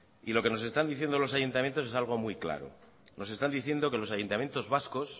y lo que nos están diciendo los ayuntamientos es algo muy claro nos están diciendo que los ayuntamientos vascos